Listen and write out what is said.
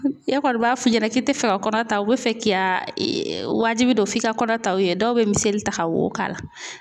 E kɔni b'a f'i ɲɛna k'i te fɛ ka kɔnɔ ta u be fɛ k'i y'a wajibi don f'i ka kɔnɔ ta dɔw be miseli ta ka wo k'a la .